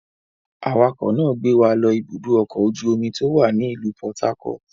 Awakọ̀ náà ń gbé wa lọ Ibùdó-ọkọ̀ ojú-omi tó wà ní ìlú Port Harcourt.